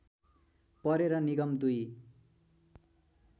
परेर निगम दुई